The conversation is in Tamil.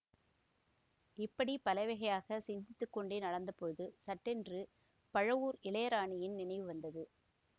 இப்படி பலவகையாகச் சிந்தித்து கொண்டே நடந்த போது சட்டென்று பழுவூர் இளையராணியின் நினைவு வந்தது